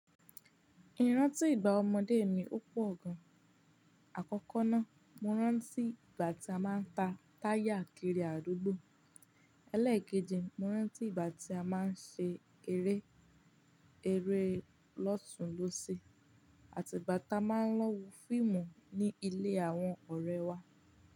Irántí ìgbà ọmọdé mi ó pọ̀ gan. Àkọ́kọ́ ná, mo rántí ìgbà tí a máa ń ta táyà kiri àdúgbò. Elékeji mo rántí ìgbà tí a máa ń ṣe eré, eré lọ́tunlósẹ̀, àti ìgbà tí a máa ń lọ wo fíìmù ní ilé àwọn ọ̀rẹ́ wa.